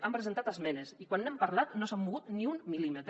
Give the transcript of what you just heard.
han presentat esmenes i quan n’hem parlat no s’han mogut ni un mil·límetre